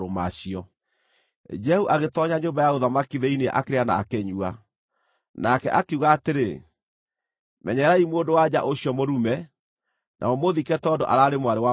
Jehu agĩtoonya nyũmba ya ũthamaki thĩinĩ akĩrĩa na akĩnyua. Nake akiuga atĩrĩ, “Menyererai mũndũ-wa-nja ũcio mũrume, na mũmũthike tondũ araarĩ mwarĩ wa mũthamaki.”